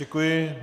Děkuji.